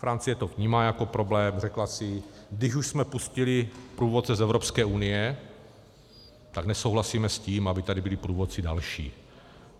Francie to vnímá jako problém, řekla si, když už jsme pustili průvodce z Evropské unie, tak nesouhlasíme s tím, aby tady byli průvodci další.